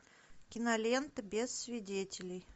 кинолента без свидетелей